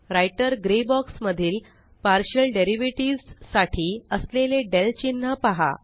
writer grey box मधील partial derivative साठी असलेले del चिन्ह पहा